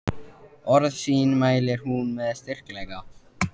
Orð sín mælir hún með styrkleika.